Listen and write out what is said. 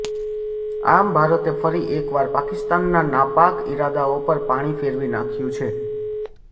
આમ ભારતે ફરી એકવાર પાકિસ્તાનના નાપાક ઈદારાઓ પર પાણી ફેરવી નાખ્યું છે